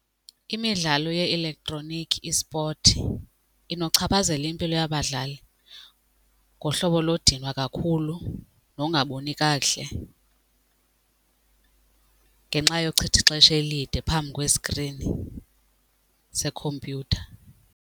Imidlalo ye-elektroniki esport inochaphazela impilo yabadlali ngohlobo lodinwa kakhulu nokungaboni kakuhle ngenxa yochitha ixesha elide phambi kweskrini sekhompyutha.